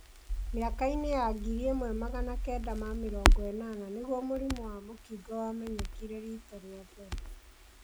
Mĩaka-inĩ ya ngiri ĩmwe magana kenda ma mĩrongo ĩnana nĩguo mũrimũ wa mũkingo wamenyekire riita rĩa mbere.